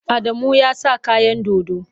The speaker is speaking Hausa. Adamu ya sa kayan dodo.